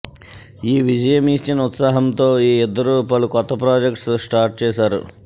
ఈ విజయం ఇచ్చిన ఉత్సాహంతో ఈ ఇద్దరు పలు కొత్త ప్రాజెక్ట్స్ స్టార్ట్ చేశారు